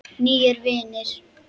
Nýir vinir